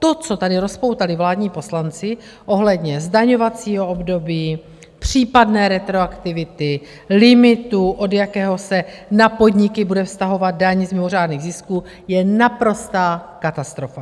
To, co tady rozpoutali vládní poslanci ohledně zdaňovacího období, případné retroaktivity limitu, od jakého se na podniky bude vztahovat daň z mimořádných zisků, je naprostá katastrofa.